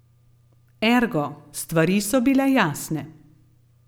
Ergo, stvari so bile jasne.